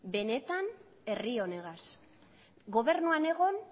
benetan herri honegaz gobernuan egon